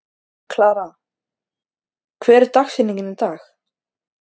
Klara, hver er dagsetningin í dag?